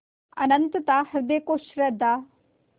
अनंतता हृदय को श्रद्धा